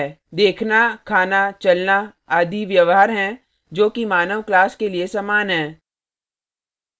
देखना खाना चलना आदि व्यवहार हैं जो कि मानव class के लिए human हैं